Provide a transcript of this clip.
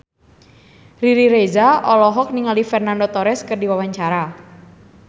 Riri Reza olohok ningali Fernando Torres keur diwawancara